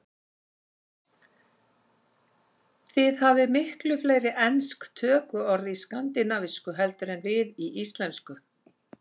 Þið hafið miklu fleiri ensk tökuorð í skandinavísku heldur en við í íslensku.